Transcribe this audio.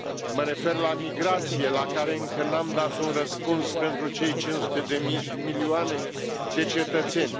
Mă refer la migrație, la care încă nu am dat un răspuns pentru cei 500 de milioane de cetățeni.